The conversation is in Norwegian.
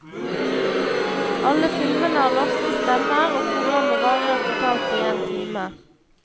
Alle filmene har norske stemmer, og programmet varer totalt i en time.